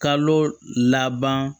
Kalo laban